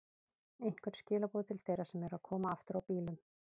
Einhver skilaboð til þeirra sem eru að koma aftur á bílum?